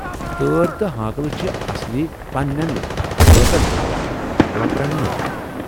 تٲرۍ تہٕ ہانکلہٕ چھِ اصلی پننٮ۪ن باژن تھاوان، وۅپرن نہٕ۔